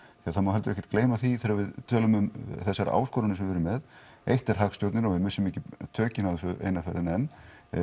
því það má heldur ekki gleyma því að þegar við tölum um þessar áskoranir sem við erum með eitt er hagstjórnin og við missum ekki tökin á þessu eina ferðina enn